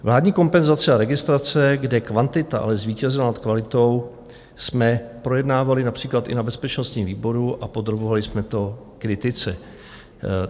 Vládní kompenzace a registrace, kde kvantita ale zvítězila nad kvalitou, jsme projednávali například i na bezpečnostním výboru a podrobovali jsme to kritice.